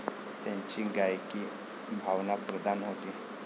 त्यांची गायकी भावनाप्रधान होती